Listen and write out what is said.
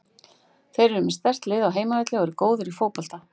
Þeir eru með sterkt lið á heimavelli og eru góðir í fótbolta.